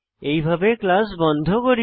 এইভাবে ক্লাস বন্ধ করি